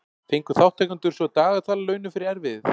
Fengu þátttakendur svo dagatal að launum fyrir erfiðið.